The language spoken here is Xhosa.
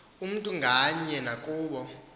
umntu ngamnye nakubo